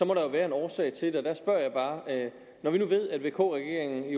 må der jo være en årsag til det når vi nu ved at vk regeringen